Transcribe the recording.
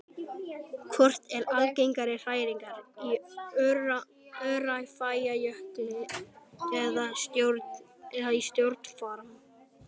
Hvort eru algengari hræringar, í Öræfajökli eða í stjórn Fram?